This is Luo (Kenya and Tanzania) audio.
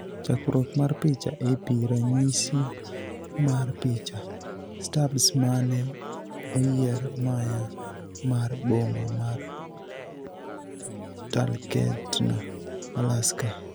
Chakruok mar picha, AP ranyisi mar picha, Stubbs mane oyier maya mar boma mar Talkeetna, Alaska.